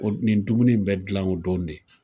O nin dumuni in be gilan o don de